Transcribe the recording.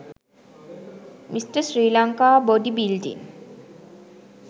mr sri lanka body building